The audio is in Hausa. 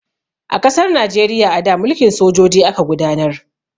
A ƙasar Najeriya a da, mulkin sojoji aka gudanar.